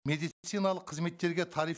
медициналық қызметтерге тариф